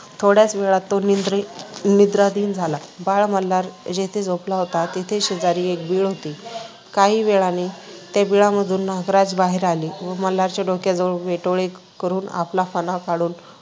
थोड्याच वेळात तो निद्रित निद्राधीन झाला. बाळ मल्हार जेथे झोपला होता तेथेच शेजारी एक बीळ होते. काही वेळाने त्या बिळामधून नागराज बाहेर आले व मल्हारच्या डोक्याजवळ वेटोळे करून आपला फणा काढून